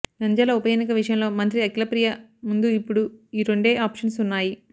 నంద్యాల ఉపఎన్నిక విషయంలో మంత్రి అఖిలప్రియ ముందు ఇప్పుడు ఈ రెండే ఆప్షన్స్ ఉన్నాయి